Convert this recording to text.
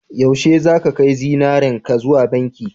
yaushe zaka kai zinarenka zuwa banki